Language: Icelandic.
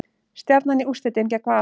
Stjarnan í úrslitin gegn Val